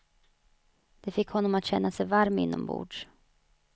Det fick honom att känna sig varm inombords.